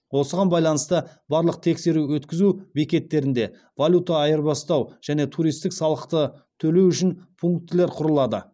осыған байланысты барлық тексеру өткізу бекеттерінде валюта айырбастау және туристік салықты төлеу үшін пунктілер құрылады